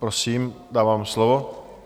Prosím, dávám slovo.